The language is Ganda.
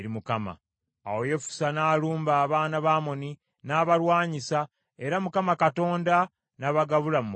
Awo Yefusa n’alumba abaana ba Amoni n’abalwanyisa, era Mukama Katonda n’abagabula mu mukono gwe.